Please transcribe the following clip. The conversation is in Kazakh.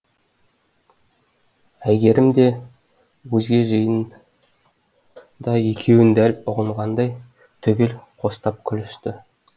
әйгерім де өзге жиын да екеуін дәл ұғынғандай түгел қостап күлісті